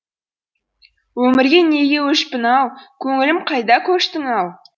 өмірге неге өшпін ау көңілім қайда көштің ау